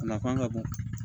A nafa ka bon